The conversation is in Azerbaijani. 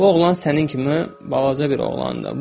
Bu oğlan sənin kimi balaca bir oğlandı.